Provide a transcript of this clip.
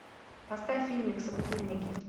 поставь фильмик собутыльники